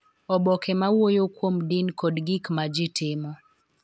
Oboke ma wuoyo kuom din kod gik ma ji timo